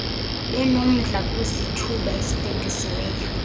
benomdla kwizithuba ezibhengeziweyo